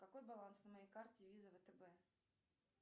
какой баланс на моей карте виза втб